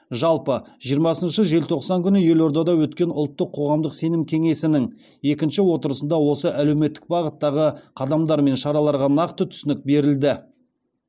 жалпы жиырмасыншы желтоқсан күні елордада өткен ұлттық қоғамдық сенім кеңесінің екінші отырысында осы әлеуметтік бағыттағы қадамдар мен шараларға нақты түсінік берілді